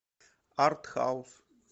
артхаус